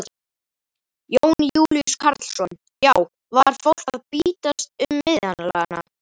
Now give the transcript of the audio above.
Jón Júlíus Karlsson: Já var fólk að bítast um miðana?